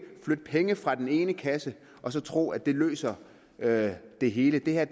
flytte penge fra den ene kasse og så tro at det løser det det hele det her